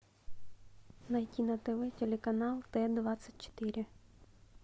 найти на тв телеканал т двадцать четыре